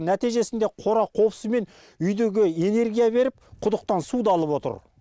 нәтижесінде қора қопсы мен үйдегі энергия беріп құдықтан суды алып отыр